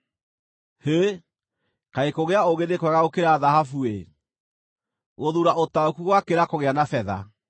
Hĩ! Kaĩ kũgĩa ũũgĩ nĩ kwega gũkĩra thahabu-ĩ, gũthuura ũtaũku gũgakĩra kũgĩa na betha!